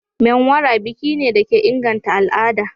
Menwara biki ne da ke inganta al'ada.